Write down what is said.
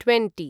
twenty